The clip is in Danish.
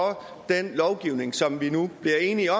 den lovgivning som vi nu bliver enige